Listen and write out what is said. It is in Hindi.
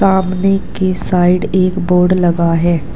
सामने के साइड एक बोर्ड लगा है।